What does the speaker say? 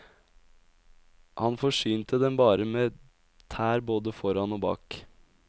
Han forsynte dem bare med tær både foran og bak.